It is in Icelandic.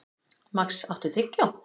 Max, áttu tyggjó?